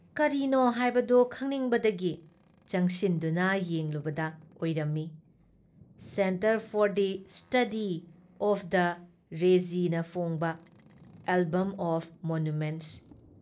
ꯀꯥꯔꯤꯅꯣ ꯍꯥꯏꯕꯗꯨ ꯈꯪꯅꯤꯡꯕꯗꯒꯤ ꯆꯪꯁꯤꯟꯗꯨꯅ ꯌꯦꯡꯂꯨꯕꯗ ꯑꯣꯏꯔꯝꯃꯤ- centre for the study of the region ꯐꯣꯡꯕ ꯑꯦꯜꯕꯝ ꯑꯣꯐ ꯃꯣꯅꯨꯃꯦꯟꯠꯁ ꯫